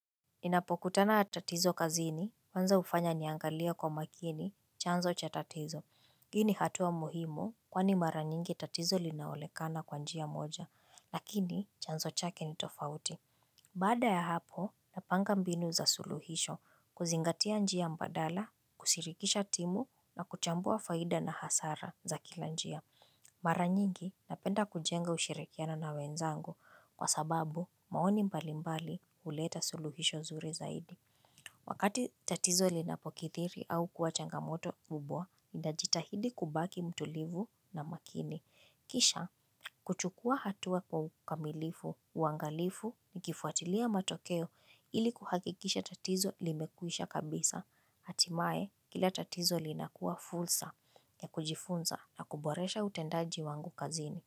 Ninapokutana na tatizo kazini kwanza hufanya niangalie kwa makini chanzo cha tatizo. Hii ni hatua muhimu kwani mara nyingi tatizo linaonekana kwa njia moja lakini chanzo chake ni tofauti. Baada ya hapo napanga mbinu za suluhisho kuzingatia njia mbadala, kushirikisha timu na kuchambua faida na hasara za kila njia. Mara nyingi napenda kujenga ushirikiano na wenzangu kwa sababu maoni mbali mbali huleta suluhisho nzuri zaidi. Wakati tatizo linapokidhiri au kuwa changamoto mkubwa, najitahidi kubaki mtulivu na makini. Kisha, kuchukua hatua kwa ukamilifu, uangalifu nikifuatilia matokeo ili kuhakikisha tatizo limekwisha kabisa. Hatimaye, kila tatizo linakuwa fursa ya kujifunza na kuboresha utendaji wangu kazini.